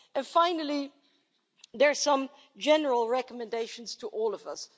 And finally, there are some general recommendations to all of us.